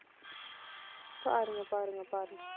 பாருங்க, பாருங்க, பாருங்க.